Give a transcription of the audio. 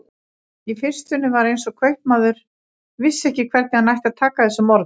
Í fyrstunni var eins og kaupmaður vissi ekki hvernig hann ætti að taka þessum orðum.